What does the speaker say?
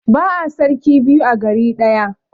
Ba'a sarki biyu a gari ɗaya.